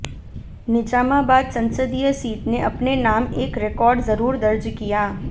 निजामाबाद संसदीय सीट ने अपने नाम एक रिकॉर्ड जरूर दर्ज किया